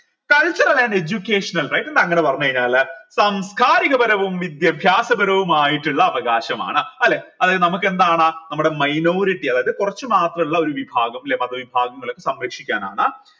cultural and educational rights എന്താ അങ്ങനെ പറഞ്ഞ് കഴിഞ്ഞാൽ സാംസ്കാരിക പരവും വിദ്യാഭ്യാസ പരവുമായിട്ടിള്ള അവകാശമാണ് അല്ലെ അതായത് നമുക്കെന്താണ് നമ്മുടെ minority അതായത് കുറച്ചു മാത്രം ഉള്ള ഒരു വിഭാഗം ല്ലേ മത വിഭാഗങ്ങൾ സംരക്ഷിക്കാനാണ്